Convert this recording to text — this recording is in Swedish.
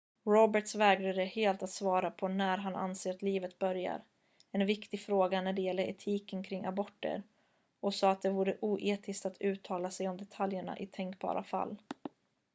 roberts vägrade helt att svara på när han anser att livet börjar en viktig fråga när det gäller etiken kring aborter och sade att det vore oetiskt att uttala sig om detaljerna i tänkbara fall